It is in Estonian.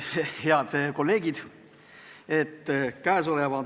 Head kolleegid!